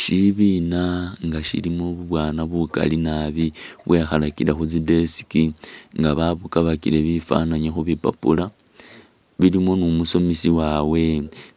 Shibiina nga shilimo bu bwana bukali nabi bwekhalakile khu tsi desk nga ba bukabakile bifananyi khu bipapula, bilimo ni umusomesa wabwe